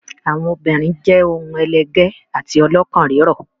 Àwọn obìnrin jẹ́ ohun ẹlẹgẹ́ àti ọlọ́kàn rírọ̀.